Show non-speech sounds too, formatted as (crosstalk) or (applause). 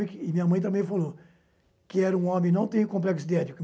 que... Minha mãe também falou que era um homem que não tem complexo de (unintelligible)